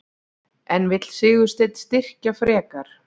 En vill Sigursteinn styrkja frekar?